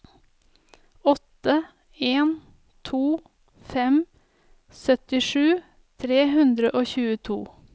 åtte en to fem syttisju tre hundre og tjueto